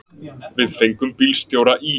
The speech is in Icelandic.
Við fengum bílstjóra í